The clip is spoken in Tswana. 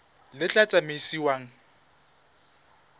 le tla tsamaisiwang ka yona